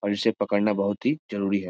और इसे पकड़ना बहुत ही जरूरी है ।